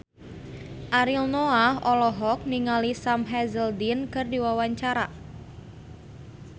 Ariel Noah olohok ningali Sam Hazeldine keur diwawancara